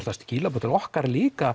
það skilaboð til okkar líka